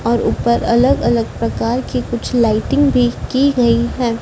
और ऊपर अलग अलग प्रकार की कुछ लाइटिंग भी की गई है।